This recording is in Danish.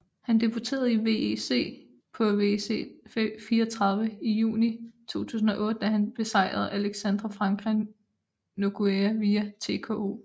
Han debuterede i WEC på WEC 34 i juni 2008 da han besejrede Alexandre Franca Nogueira via TKO